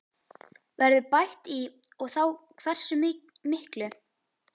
Verður bætt í og þá hversu miklu?